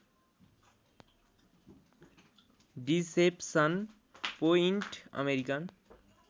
deception Point American